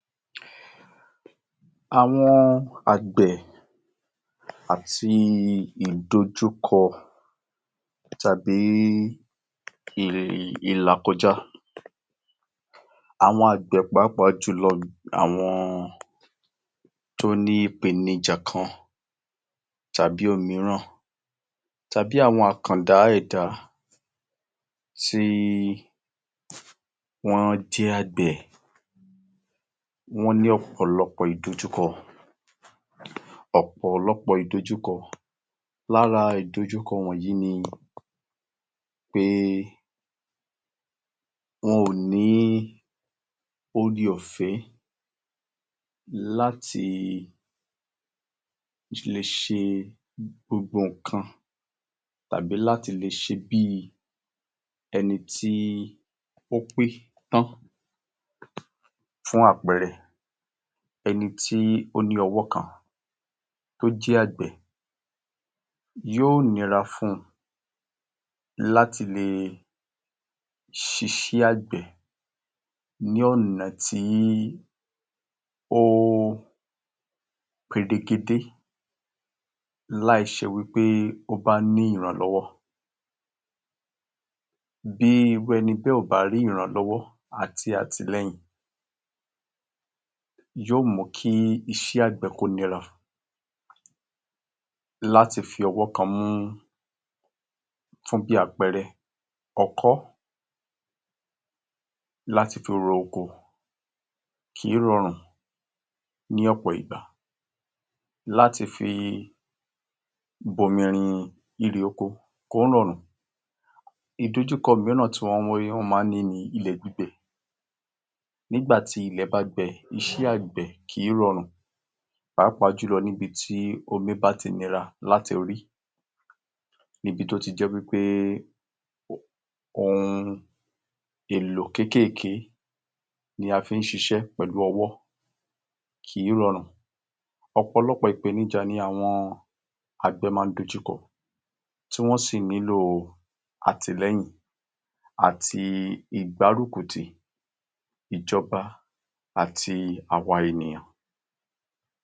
àwọn àgbẹ̀ àti ìdọjúkọ tàbí ìlàkọjá. Àwọn àgbẹ pàápàá jùlọ, àwọn tó ní ìpèníjà kan tàbí òmíràn tàbí àwọn àkàndá ẹ̀dá tí wọ́n jẹ́ àgbẹ̀, wọ́n ní ọ̀pọ̀lọpọ̀ ìdojúkọ ọ̀pọ̀lọpọ̀ ìdojúkọ. lára ìdojúkọ wọ̀nyí ni, wọn ò ní ore-òfẹ́ láti lè ṣe gbogbo ǹkan tàbí láti lè ṣe bí ẹni tí ò pé tán, fún àpẹrẹ, ẹni tí ó ní ọwọ́ kan tí o ́jẹ́ àgbẹ̀, yóò nira fún un láti lè ṣiṣé àgbẹ̀ ní ọ̀nà tí ó peregede láì ṣe wípé ó bá ní ìrànlọ́wọ́. Bí irú eni bẹ́ẹ̀ ò bá ní ìrànlọ́wọ́ àti àtìlẹ́yìn, yóò mú kó nira láti fi ọwọ́ kan mú fún bí àpẹrẹ ọkọ́ láti fi ro oko, kìí rọrùn ní ọ̀pọ̀ ìgbà, láti fi bomirin erè oko kìí rọrùn ìdojúkọ míràn tí wọ́n máa ní ní ilẹ̀ gbígbẹ, ní ìgbà tí ilẹ̀ bá gbẹ kìí rọrùn pàápàá jùlọ ní ibí lati rí, ní ibi tí ó ti jẹ́ wípé, ohun èlò keke la fi ṣiṣẹ́ pẹ̀lu ọwọ́, kìí rọrùn, ọ̀pọ̀lọpọ̀ ìpènijà ni àwọn àgbẹ̀ ma ń dojúkọ tí wọ́n sì nílo àtìlẹyìn, àti ìgbárùkú tì, ìjọba àti àwa ènìyàn.